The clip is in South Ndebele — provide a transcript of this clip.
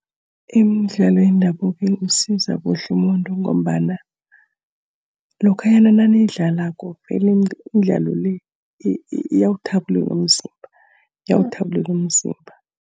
Imidlalo yendabuko imsiza kuhle umuntu ngombana, lokhanyana naniyidlalako vele imidlalo le, iyawuthabulula umzimba, iyawuthabulula umzimba.